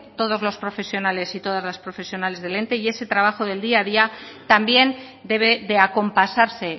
todos los profesionales y todas las profesionales del ente y ese trabajo del día a día también debe de acompasarse